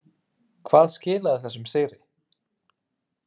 Hvað skilaði þessum sigri?